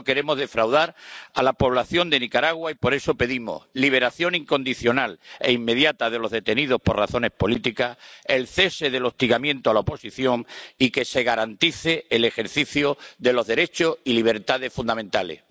No queremos defraudar a la población de Nicaragua y por eso pedimos la liberación incondicional e inmediata de los detenidos por razones políticas, el cese del hostigamiento a la oposición y que se garantice el ejercicio de los derechos y libertades fundamentales.